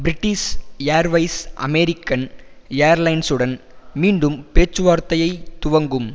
British Airways American ஏர்லைன்சுடன் மீண்டும் பேச்சுவார்த்தையை துவங்கும்